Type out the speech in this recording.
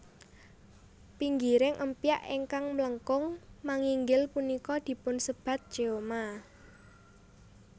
Pinggiring empyak ingkang mlengkung manginggil punika dipunsebat cheoma